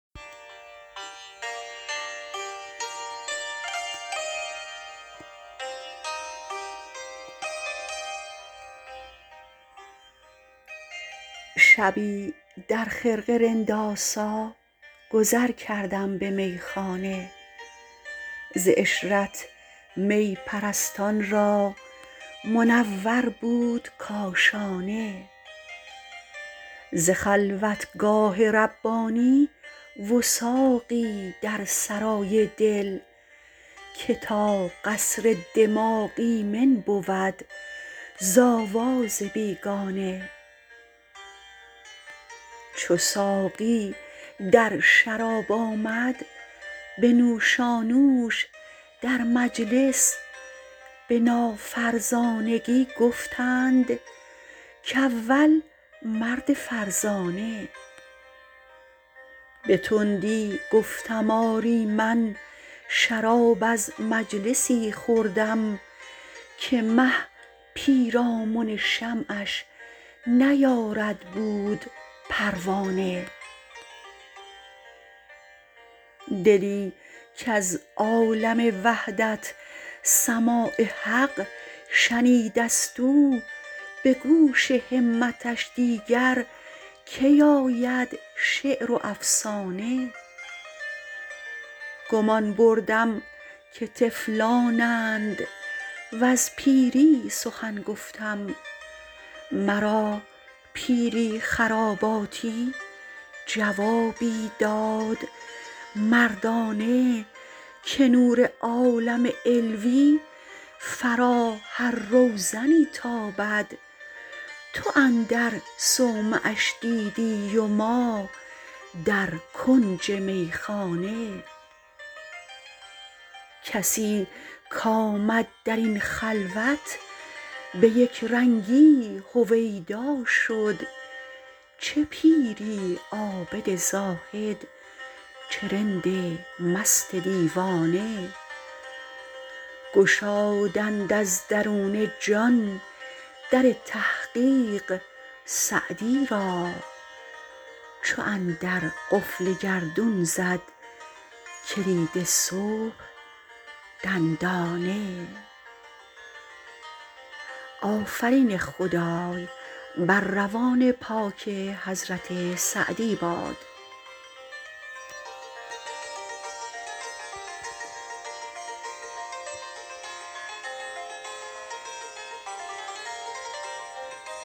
شبی در خرقه رندآسا گذر کردم به میخانه ز عشرت می پرستان را منور بود کاشانه ز خلوتگاه ربانی وثاقی در سرای دل که تا قصر دماغ ایمن بود ز آواز بیگانه چو ساقی در شراب آمد به نوشانوش در مجلس به نافرزانگی گفتند کاول مرد فرزانه به تندی گفتم آری من شراب از مجلسی خوردم که مه پیرامن شمعش نیارد بود پروانه دلی کز عالم وحدت سماع حق شنیده ست او به گوش همتش دیگر کی آید شعر و افسانه گمان بردم که طفلانند وز پیری سخن گفتم مرا پیری خراباتی جوابی داد مردانه که نور عالم علوی فرا هر روزنی تابد تو اندر صومعش دیدی و ما در کنج میخانه کسی کآمد در این خلوت به یکرنگی هویدا شد چه پیری عابد زاهد چه رند مست دیوانه گشادند از درون جان در تحقیق سعدی را چو اندر قفل گردون زد کلید صبح دندانه